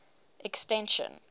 extension